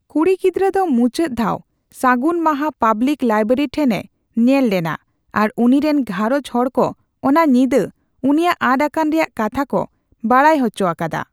ᱠᱩᱲᱤ ᱜᱤᱫᱽᱨᱟᱹ ᱫᱚ ᱢᱩᱪᱟᱹᱫ ᱫᱷᱟᱣ ᱥᱟᱹᱜᱩᱱ ᱢᱟᱦᱟ ᱯᱟᱵᱽᱞᱤᱠ ᱞᱟᱭᱵᱨᱮᱨᱤ ᱴᱷᱮᱱᱮ ᱧᱮᱞ ᱞᱮᱱᱟ ᱟᱨ ᱩᱱᱤ ᱨᱮᱱ ᱜᱷᱟᱨᱚᱸᱡᱽ ᱦᱚᱲ ᱠᱚ ᱚᱱᱟ ᱧᱤᱫᱟᱹ ᱩᱱᱤᱭᱟᱜ ᱟᱫ ᱟᱠᱟᱱ ᱨᱮᱭᱟᱜ ᱠᱟᱛᱷᱟ ᱠᱚ ᱵᱟᱰᱟᱭ ᱦᱚᱪᱚ ᱟᱠᱟᱫᱟ ᱾